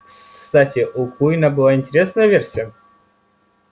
кстати у куинна была интересная версия